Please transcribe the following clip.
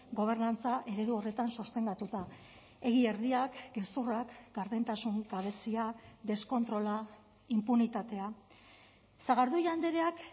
gobernantza eredu horretan sostengatuta egia erdiak gezurrak gardentasun gabezia deskontrola inpunitatea sagardui andreak